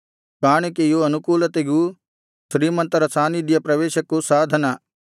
ಕಾಣಿಕೆಯು ಅನುಕೂಲತೆಗೂ ಶ್ರೀಮಂತರ ಸಾನ್ನಿಧ್ಯ ಪ್ರವೇಶಕ್ಕೂ ಸಾಧನ